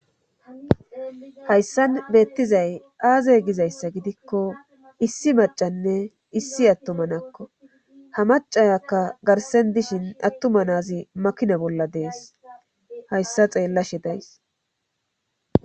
Hayssan beettizay aaze gizayssa gidikko issi macanne issi attumanakko ha macayakka garsen dishin attumanaazi makina bolla dees hayssa xeellashe days.